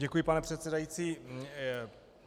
Děkuji, pane předsedající.